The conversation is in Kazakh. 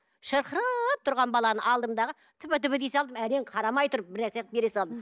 шырқырап тұрған баланы алдым дағы тфа тфа дей салдым әрең қарамай тұрып бір нәрсе қылып бере салдым